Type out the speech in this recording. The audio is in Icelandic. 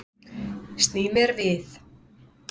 Sný mér við.